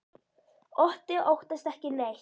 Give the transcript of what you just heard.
Otti óttast ekki neitt!